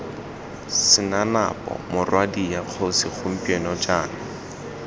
senanapo morwadia kgosi gompieno jaana